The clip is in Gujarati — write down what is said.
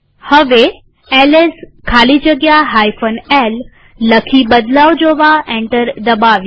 હવે એલએસ ખાલી જગ્યા l લખી બદલાવ જોવા એન્ટર દબાવીએ